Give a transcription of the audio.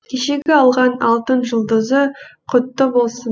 кешегі алған алтын жұлдызы құтты болсын